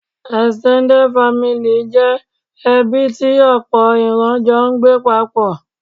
Extended family' jẹ́ ẹbí tí òpò ìran jọ n gbé paapò